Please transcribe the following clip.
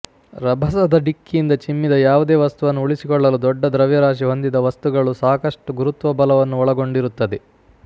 ರಭಸದ ಡಿಕ್ಕಿಯಿಂದ ಚಿಮ್ಮಿದ ಯಾವುದೇ ವಸ್ತುವನ್ನು ಉಳಿಸಿಕೊಳ್ಳಲು ದೊಡ್ಡ ದ್ರವ್ಯರಾಶಿ ಹೊಂದಿದ ವಸ್ತುಗಳು ಸಾಕಷ್ಟು ಗುರುತ್ವಬಲವನ್ನು ಒಳಗೊಂಡಿರುತ್ತದೆ